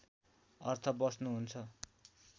अर्थ बस्नु हुन्छ